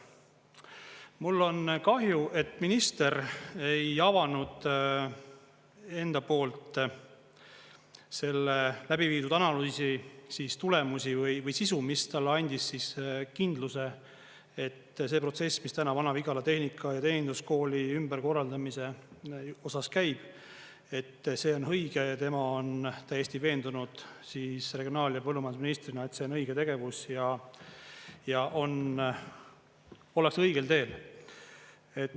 Mul on kahju, et minister ei avanud enda poolt selle läbiviidud analüüsi tulemusi või sisu, mis talle andis kindluse, et see protsess, mis täna Vana-Vigala Tehnika‑ ja Teeninduskooli ümberkorraldamise osas käib, et see on õige, ja tema on täiesti veendunud siis regionaal‑ ja põllumajandusministrina, et see on õige tegevus ja ollakse õigel teel.